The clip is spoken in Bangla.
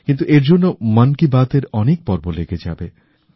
কিন্তু এর জন্য মন কি বাত এর অনেক পর্ব লেগে যাবে